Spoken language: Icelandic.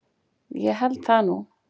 Ég held það nú.